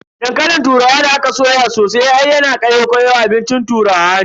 Dankalin turawa da aka soya sosai har yana kayau kayau abincin turawa ne.